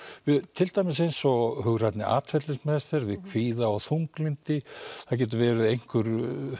til dæmis eins og hugrænni atferlismeðferð við kvíða og þunglyndi það getur verið einhver